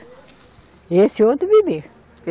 E esse outro bebê.